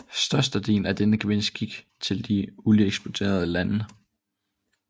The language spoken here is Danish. Størstedelen af denne gevinst gik til de olieeksporterende lande